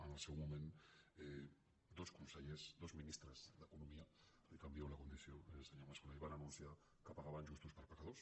en el seu moment dos consellers dos ministres d’economia li canvio la condició eh senyor mas·colell van anun·ciar que pagaven justos per pecadors